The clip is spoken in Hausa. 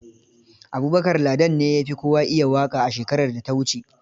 Abubakar Ladan ne ya fi kowa iya waƙa a shekarar da ta wuce.